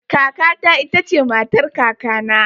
Kaka ta ita ce matar kakana